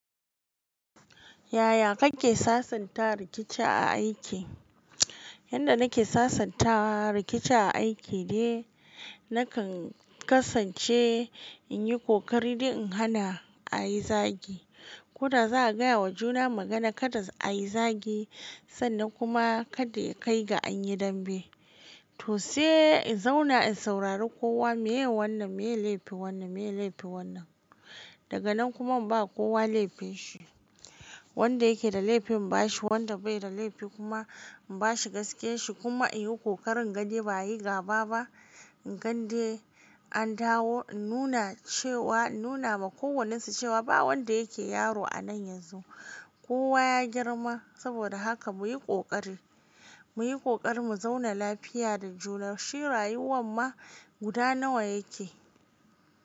Yaya kake sasanta rikici a aiki? Yanda nake sasanta rikici a aiki ne, nakan kasan ce in yi ƙoƙari dai in hana ayi zagi. Ko da za'a gaya wa juna magana kada ayi zagi sannan kuma kada ya kai ga an yi dambe. To sai in zauna in saurari kowa, meye wannan, meye laifin wannan, meye laifin wannan. Daga nan kuma in bawa kowa laifin shi. Wanda yake da laifi in bashi, wanda bai da laifi kuma in bashi gaskiyan shi kuma in yi ƙoƙarin ga dai ba a yi gaba ba. Dande an dawo in nuna cewa, in nuna ma kowannen su cewa ba wanda yake yaro anan yanzu. Kowa ya girma saboda haka muyi ƙoƙari, muyi ƙoƙarin mu zauna lafiya da juna, shi rayuwan ma guda nawa yake.